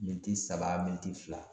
Miniti saba minitti fila